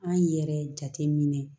An yɛrɛ jate minɛ